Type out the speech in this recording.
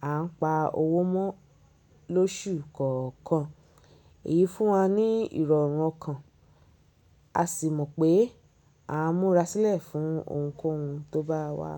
à ń pa owó mọ́ lóṣù kọ̀ọ̀kan. Èyí fún wa ní ìrọ̀rùn ọkàn. A sì mọ̀ pé a múra sílẹ̀ fún ohunkóhun tó bá wá.